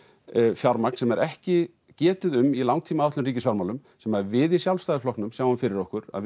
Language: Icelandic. fjármagn sem ekki getið um í langtímaáætlun í ríkisfjármálum sem að við í Sjálfstæðisflokknum sjáum fyrir okkur að